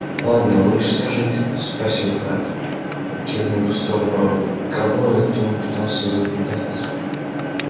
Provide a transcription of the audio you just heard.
ладно лучше скажите спросил хагрид кивнув в сторону рона кого это он пытался заколдовать